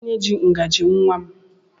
Kedụ onye jị ngaji nnwa m?